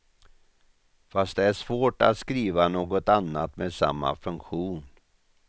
Fast det är svårt att skriva något annat med samma funktion.